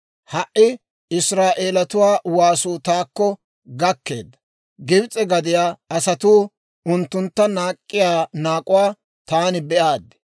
Ha"i Israa'eeletuwaa waasuu taakko gakkeedda; Gibs'e gadiyaa asatuu unttuntta naak'k'iyaa naak'uwaa taani be'aaddi;